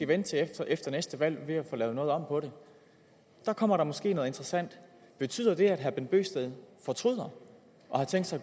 vente til efter efter næste valg med at få lavet noget om på det der kommer der måske noget interessant betyder det at herre bent bøgsted fortryder og har tænkt sig